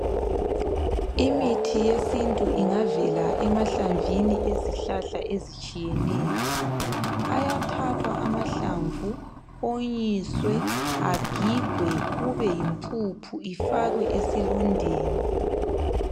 Imithi yesintu ingavela emahlamvini ezihlahla ezitshiyeneyo. Ayathathwa amahlamvu onyiswe, agigwe kube yimpuphu ifakwe esilondeni.